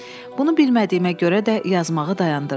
Bunu bilmədiyimə görə də yazmağı dayandırdım.